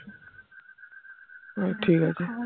ঠিক আছে